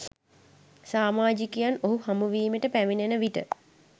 සාමාජිකයන් ඔහු හමුවීමට පැමිණෙන විට